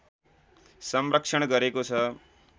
संरक्षण गरेको छ